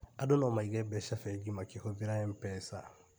Andũ no maige mbeca bengi makĩhũthĩra MPESA